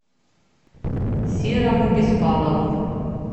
серому беспалову